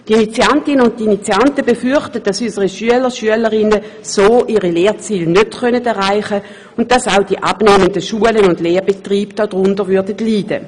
Die Initiantinnen und Initianten befürchten, dass unsere Schüler und Schülerinnen ihre Lernziele so nicht erreichen können, worunter dann auch die abnehmenden Schulen und Lehrbetriebe leiden würden.